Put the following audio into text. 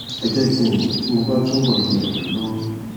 ẹ jẹ kí n mọ tí mo bá túbọ le ràn yín lọwọ